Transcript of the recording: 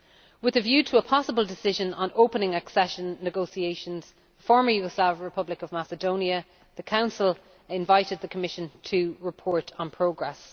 With a view to a possible decision on opening accession negotiations with the former Yugoslav Republic of Macedonia, the Council invited the Commission to report on progress.